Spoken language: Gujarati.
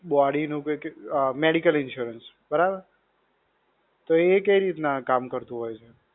Body નું કંઈ કેટલું, Medical insurance, બરાબર. તો એ કઈ રીતના કામ કરતું હોય છે?